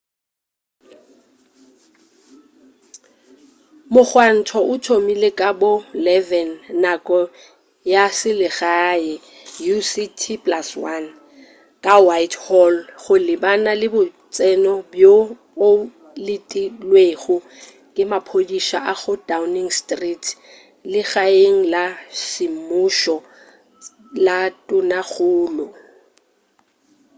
mogwanto o thomile ka bo 11:00 nako ya selegae utc+1 ka whitehall go lebana le botseno bjo o letilwego ke maphodisa go downing street legaeng la semmušo la tonakgolo